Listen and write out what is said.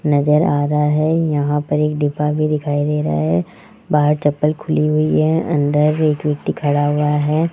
नजर आ रा है यहां पर एक डिब्बा भी दिखाई दे रा है बाहर चप्पल खुली हुई है अंदर एक व्यक्ति खड़ा हुआ है।